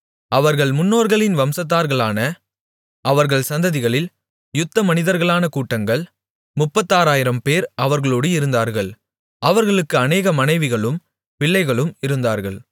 அவர்கள் முன்னோர்களின் வம்சத்தார்களான அவர்கள் சந்ததிகளில் யுத்தமனிதர்களான கூட்டங்கள் முப்பத்தாறாயிரம்பேர் அவர்களோடு இருந்தார்கள் அவர்களுக்கு அநேக மனைவிகளும் பிள்ளைகளும் இருந்தார்கள்